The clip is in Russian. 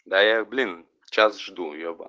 да я блин час жду еба